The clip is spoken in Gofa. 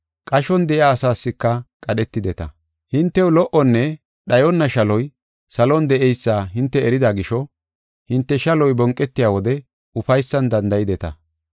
Qashon de7iya asaaska qadhetideta. Hintew lo77onne dhayonna shaloy salon de7eysa hinte erida gisho hinte shaloy bonqetiya wode ufaysan danda7ideta.